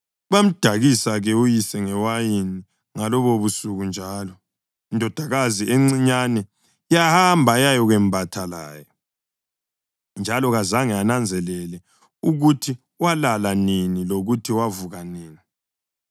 Bamdakisa-ke uyise ngewayini ngalobobusuku njalo, indodakazi encinyane yahamba yayakwembatha laye. Njalo kazange ananzelele ukuthi walala nini lokuthi wavuka nini.